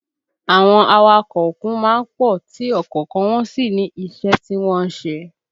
Àwọn awakọ̀ òkun má ń pọ̀ tí ọ̀kọ̀ọ̀kan wọn sì ní iṣẹ́ tí wọ́n ń ṣe